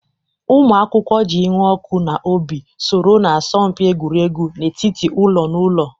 Ụmụ akwụkwọ ji ịnụ ọkụ n'obi soro na asọmpi egwuregwu n'etiti ụlọ na ụlọ.